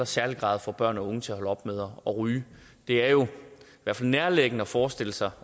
særlig grad få børn og unge til at holde op med at ryge det er jo i hvert fald nærliggende at forestille sig